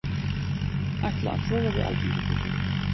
Ætla að sofa við Alþingishúsið